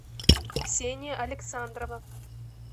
ксения александрова